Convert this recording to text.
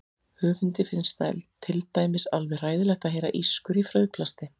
Höfundi finnst til dæmis alveg hræðilegt að heyra ískur í frauðplasti.